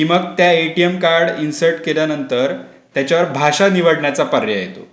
की मग ते एटीएम कार्ड इन्सर्ट केल्यानंतर त्याच्यावर भाषा निवडण्याचा पर्याय येतो.